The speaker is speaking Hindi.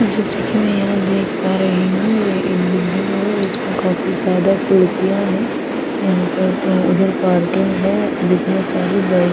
जैसे मे यहां देख पा रही हूं ये एक बिल्डिंग है और इसमें काफी ज्यादा खिड़कियां है यहां अ पर उधर पार्किंग है जिसमें सारी बाइ--